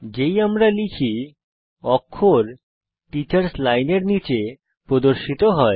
যেই আমরা লিখি অক্ষর টিচার্স লাইনের নীচে প্রদর্শিত হয়েছে